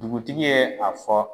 Dugutigi ye a fɔ